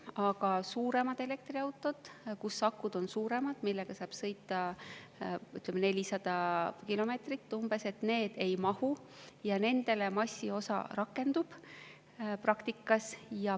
Aga suuremad elektriautod, kus akud on suuremad ja millega saab sõita, ütleme, umbes 400 kilomeetrit, ei mahu ja nendele praktikas massiosa rakendub.